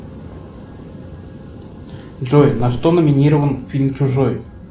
джой на что номинирован фильм чужой